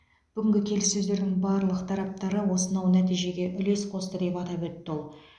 бүгінгі келіссөздердің барлық тараптары осынау нәтижеге үлес қосты деп атап өтті ол